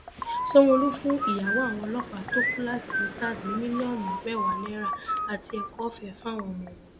sanwóolu fún ìyàwó àwọn ọlọpàá tó kú lásìkò sars ní mílíọnù mẹwàá náírà àti ẹkọọfẹ fáwọn ọmọ wọn